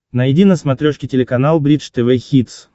найди на смотрешке телеканал бридж тв хитс